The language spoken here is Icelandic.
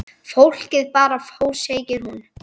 Fólkið bara fór segir hún.